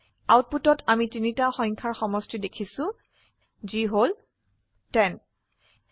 আউটপুটত আমি তিনিটা সংখ্যাৰ সমষ্টি দেখিছো যি হল 10